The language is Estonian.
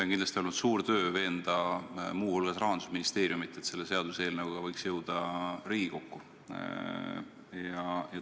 On kindlasti olnud suur töö veenda muu hulgas Rahandusministeeriumi, et selle seaduseelnõuga võiks jõuda Riigikokku.